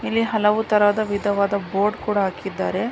ಇಲ್ಲಿ ಹಲವು ತರದ ವಿಧವಾದ ಬೋರ್ಡ್ ಕೂಡ ಹಾಕಿದ್ದಾರೆ.